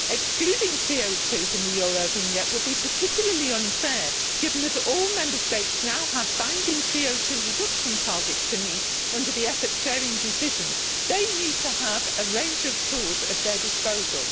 Excluding CO 2 from the Eurovignette would be particularly unfair given that all Member States now have binding CO 2 reduction targets to meet under the effort sharing decision. They need to have a range of tools at their disposal.